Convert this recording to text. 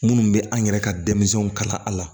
Minnu bɛ an yɛrɛ ka denmisɛnw kalan a la